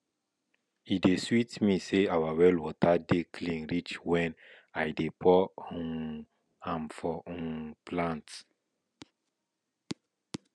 e dey sweet me say our well water dey clean reach when i dey pour um am for um plants